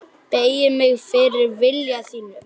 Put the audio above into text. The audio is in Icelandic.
Beygi mig fyrir vilja þínum.